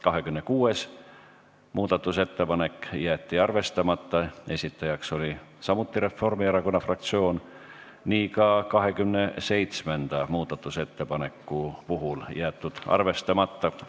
26. muudatusettepanek jäeti arvestamata, esitajaks oli samuti Reformierakonna fraktsioon, nii on ka 27. muudatusettepanek jäetud arvestamata.